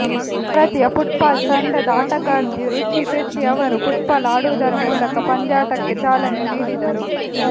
ಭಾರತೀಯ ಫುಟ್ಬಾಲ್ ತಂಡದ ಆಟಗಾರ್ತಿ ರುಚಿ ಶೆಟ್ಟಿ ಅವರು ಫುಟ್ಬಾಲ್ ಆಡುವುದರ ಮೂಲಕ ಪಂದ್ಯಾಟಕ್ಕೆ ಚಾಲನೆ ನೀಡಿದರು